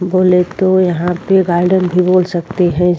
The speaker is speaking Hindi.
बोलेतो यहा पे गार्डन भी बोल सकते है।